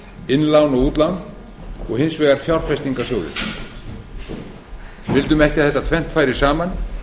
innlán og útlán og hins vegar fjárfestingarsjóðir við vildum ekki að þetta tvennt færi saman